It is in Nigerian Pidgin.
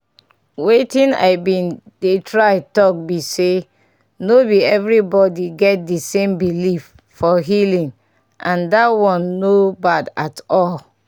wetin i been dey try talk be sayno be everybody get the same belief for healing and that one no bad at all.